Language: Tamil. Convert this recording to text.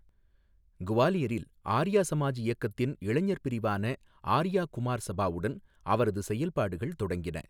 குவாலியரில் ஆர்யா சமாஜ் இயக்கத்தின் இளைஞர் பிரிவான ஆர்யா குமார் சபாவுடன் அவரது செயல்பாடுகள் தொடங்கின.